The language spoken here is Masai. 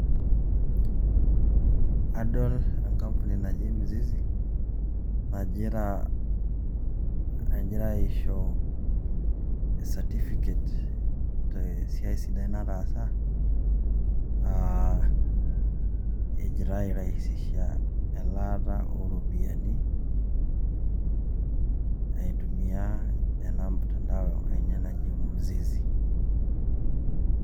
Adol enkapuni naji mzizi najira aisho certificate te siai sidai nataasa ejira airaisisha elaata o ropiani aitumia ena mtandao enye naji mzizi.